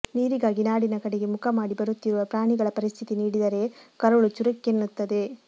ನೀರಿಗಾಗಿ ನಾಡಿನ ಕಡೆಗೆ ಮುಖ ಮಾಡಿ ಬರುತ್ತಿರುವ ಪ್ರಾಣಿಗಳ ಪರಿಸ್ಥಿತಿ ನೀಡಿದರೆ ಕರುಳು ಚುರುಕ್ಕೆನ್ನುತ್ತದೆ